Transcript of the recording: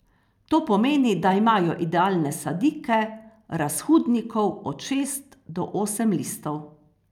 To pomeni, da imajo idealne sadike razhudnikov od šest do osem listov.